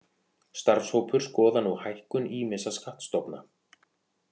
Starfshópur skoðar nú hækkun ýmissa skattstofna